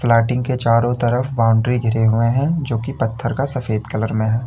Plotting के चारों तरफ बाउंड्री घिरे हुए हैं जो की पत्थर का सफेद कलर में है।